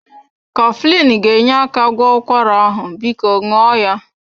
Coflin ga-enye aka gwọọ ụkwara ahụ, biko ṅụọ ya.